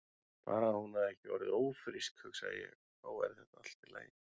Bara að hún hefði ekki orðið ófrísk, hugsaði ég, þá væri þetta allt í lagi.